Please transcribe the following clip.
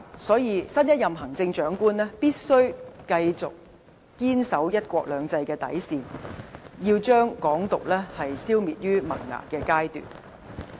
所以，新一任行政長官必須繼續堅守"一國兩制"的底線，要把"港獨"消滅於萌芽階段。